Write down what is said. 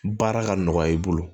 Baara ka nɔgɔya i bolo